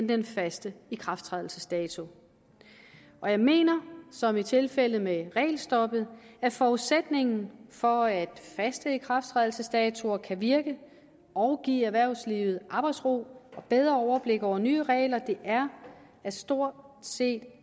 den faste ikrafttrædelsesdato og jeg mener som i tilfældet med regelstoppet at forudsætningen for at faste ikrafttrædelsesdatoer kan virke og give erhvervslivet arbejdsro og bedre overblik over nye regler er at stort set